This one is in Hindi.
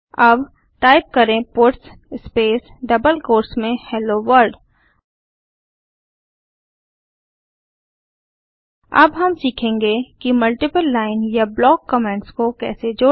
अब टाइप करें पट्स स्पेस डबल कोट्स में हेलो वर्ल्ड अब हम सीखेंगे कि मल्टीपल लाइन या ब्लॉक कमेंट्स को कैसे जोड़ें